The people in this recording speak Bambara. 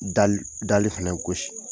Dali fana gosi